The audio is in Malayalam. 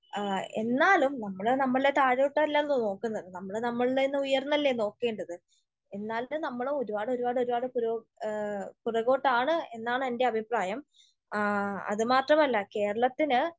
എന്നാലും നമ്മൾ നമ്മുടെ താഴോട്ടല്ലല്ലോ നോക്കുന്നത്. നമ്മൾ നമ്മളീന്ന് ഉയർന്നല്ലേ നോക്കേണ്ടത്. എന്നാലും നമ്മൾ ഒരുപാട് ഒരുപാട് ഒരുപാട് പിറ, പിറകോട്ടാണ് എന്നാണ് എൻ്റെ അഭിപ്രായം. അത് മാത്രമല്ല കേരളത്തിന്